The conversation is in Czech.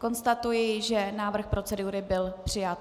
Konstatuji, že návrh procedury byl přijat.